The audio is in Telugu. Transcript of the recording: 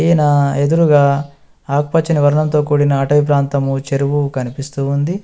నా ఎదురుగా ఆకుపచ్చని వర్ణంతో కూడిన అటవి ప్రాంతము చెరువు కనిపిస్తూ ఉంది.